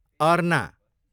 अर्ना